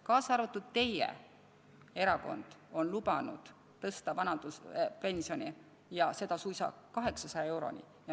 Ka teie erakond on lubanud tõsta vanaduspensioni ja suisa 800 euroni.